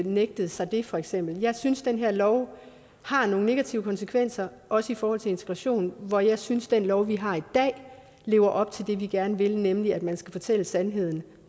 nægtet sig det for eksempel jeg synes at den her lov har nogle negative konsekvenser også i forhold til integrationen hvor jeg synes den lov vi har i dag lever op til det vi gerne vil nemlig at man skal fortælle sandheden